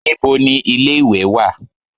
Níbo ni ilé-ìwẹ̀ wà?